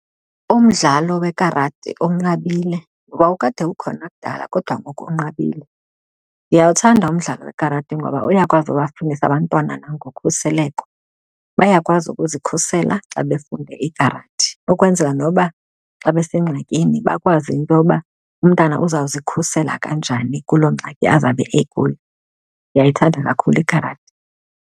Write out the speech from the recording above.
Umdlalo wekarati unqabile. Wawukade ukhona kudala kodwa ngoku unqabile. Ndiyawuthanda umdlalo wekarati ngoba uyakwazi bafundisa abantwana nangokhuseleko, bayakwazi ukuzikhusela xa befunde ikarati ukwenzela noba xa besengxakini bakwazi intoba umntana uzawuzikhusela kanjani kuloo ngxaki azawube ekuyo. Ndiyayithanda kakhulu ikarati.